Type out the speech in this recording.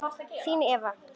Þín Eva